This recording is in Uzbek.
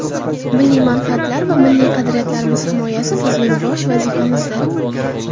Milliy manfaatlar va milliy qadriyatlarimiz himoyasi bizning bosh vazifamizdir.